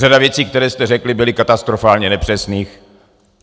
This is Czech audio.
Řada věcí, které jste řekli, byly katastrofálně nepřesných.